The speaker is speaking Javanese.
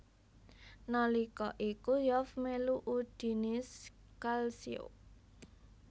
Nalika iku Zoff melu Udinese Calcio